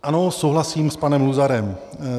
Ano, souhlasím s panem Luzarem.